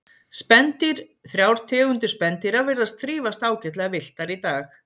Spendýr Þrjár tegundir spendýra virðast þrífast ágætlega villtar í dag.